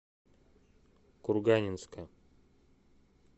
курганинска